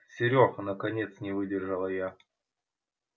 серёга наконец не выдержала я